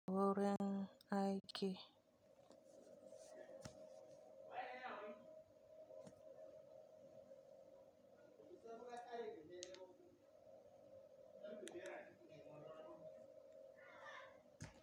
Wurin aiki.